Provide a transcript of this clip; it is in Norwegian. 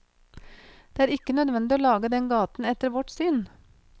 Det er ikke nødvendig å lage den gaten etter vårt syn.